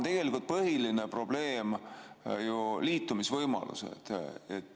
Täna on põhiline probleem ju liitumisvõimalused.